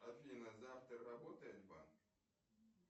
афина завтра работает банк